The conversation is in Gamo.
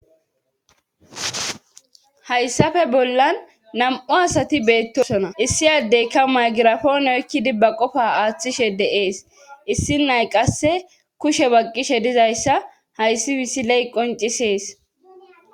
hayssaf bollan nam7u asati beettosona issi addeykka maygirafoone oykkidibba qofa aaththishe de7ees issi nay qasse kushe baqqishe dizayssa hayssi bisiley qoncisees